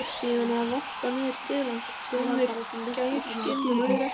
Síðan var varpað niður til hans tveimur gæruskinnum, öðru ekki.